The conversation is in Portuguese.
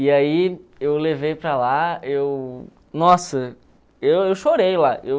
E aí eu levei para lá, eu... Nossa, eu eu chorei lá.